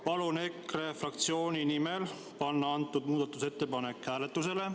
Palun EKRE fraktsiooni nimel panna see muudatusettepanek hääletusele.